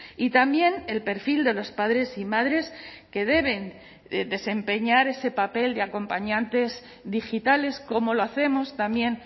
y también el perfil de los padres y madres que deben desempeñar ese papel de acompañantes digitales como lo hacemos también